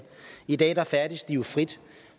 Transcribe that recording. i dag færdes de jo frit